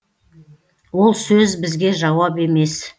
ол сөз бізге жауап емес